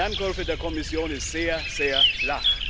Die Lernkurve der Kommission ist sehr, sehr flach.